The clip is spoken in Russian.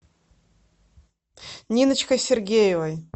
ниночкой сергеевой